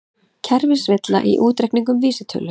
Kerfisvilla í útreikningum vísitölu